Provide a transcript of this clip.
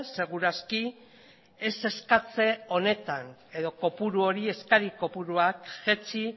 seguru aski ez eskatze honetan edo eskari kopuruak jaitsi